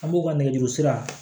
An b'u ka nɛgɛjurusira